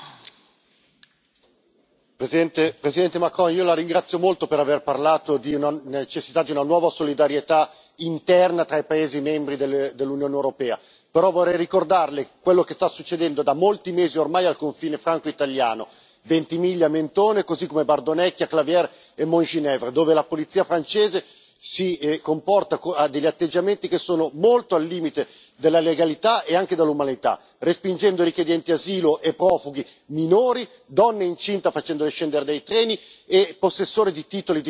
Signor Presidente, onorevoli colleghi, Presidente Macron, io la ringrazio molto per aver parlato della necessità di una nuova solidarietà interna tra gli Stati membri dell'Unione europea. Tuttavia, vorrei ricordarle quello che sta succedendo, da molti mesi ormai, al confine franco italiano di Ventimiglia Mentone, così come Bardonecchia, Claviers e Montgenèvre, dove la polizia francese ha degli atteggiamenti che sono molto al limite della legalità e anche dell'umanità, respingendo richiedenti asilo e profughi minori, donne incinte, facendole scendere dai treni, e possessori di titoli di transito normali.